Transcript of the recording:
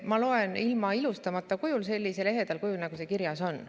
Ma loen ilma ilustamata, sellisel ehedal kujul, nagu see kirjas on.